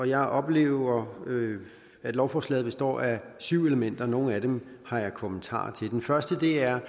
jeg oplever at lovforslaget består af syv elementer nogle af dem har jeg kommentarer til den første er